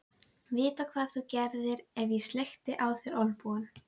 Vita hvað þú gerðir ef ég sleikti á þér olnbogann.